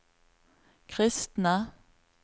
kristne